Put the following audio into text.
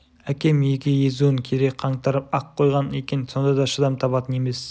әкем екі езуін кере қаңтарып ақ қойған екен сонда да шыдам табатын емес